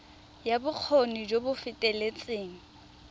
ya bokgoni jo bo feteletseng